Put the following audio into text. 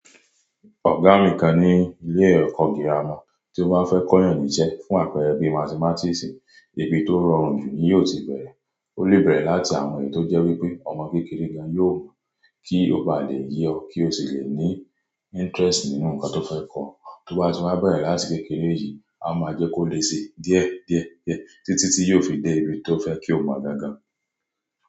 Ọ̀gá mi kan ní ilé ẹ̀kọ́ gírámà tí ó máa ń fẹ́ kọyàn ní íṣẹ́ fún àpẹẹrẹ bí mátimatiisì, ibi tó rọrùn jù ni yóò ti bẹ̀rẹ̀. Ó lè bẹ̀rẹ̀ láti àwọn èyí tó jẹ́ wípé ọmọ kékeré gan-an yóò mọ̀ kí ó bá lè yé ọ kí ó sì le ní interest nínú nǹkan tó fẹ́ kọ́. Tó bá ti waa bẹ̀rẹ̀ láti kékeré yìí, a máa jẹ́ kó lè ṣi díẹ̀ díẹ̀ díẹ̀ títí tí yóò fi dé ibi tí ó fẹ́ kí ó máa gan gan.